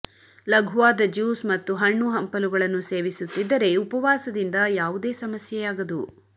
ಲಘುವಾದ juice ಮತ್ತು ಹಣ್ಣು ಹಂಪಲುಗಳನ್ನು ಸೇವಿಸುತ್ತಿದ್ದರೆ ಉಪವಾಸದಿಂದ ಯಾವುದೇ ಸಮಸ್ಯೆಯಾಗದು